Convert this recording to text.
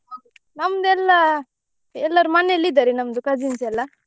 ನಮ್ದೆಲ್ಲ ಎಲ್ಲರೂ ಮನೆಯಲ್ಲಿ ಇದ್ದಾರೆ ನಮ್ದು cousins ಎಲ್ಲ.